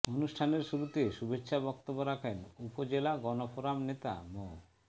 অনুষ্ঠানের শুরুতে শুভেচ্ছা বক্তব্য রাখেন উপজেলা গণফোরাম নেতা মো